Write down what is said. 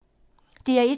DR1